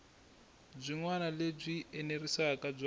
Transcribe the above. byin wana lebyi enerisaku bya